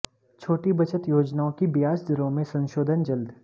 छोटी बचत योजनाओं की ब्याज दरों में संशोधन जल्द